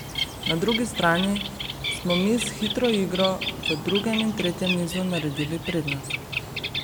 Na drugi strani smo mi s hitro igro v drugem in tretjem nizu naredili prednost.